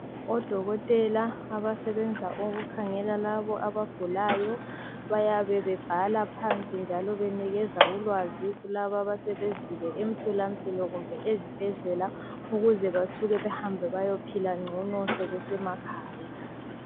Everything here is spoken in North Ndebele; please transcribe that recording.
Odokotela abasebenza ukukhangela labo abagulayo bayabe bebhala phansi njalo benikeza ukwazi kulaba asebezile emtholampilo kumbe ezibhedlela ukuze basuke bahambe bayeohila ngcono sebesemakhaya.